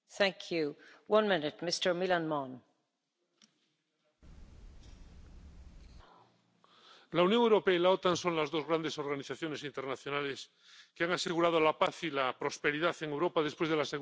Señora presidenta, la Unión Europea y la OTAN son las dos grandes organizaciones internacionales que han asegurado la paz y la prosperidad en Europa después de la Segunda Guerra Mundial.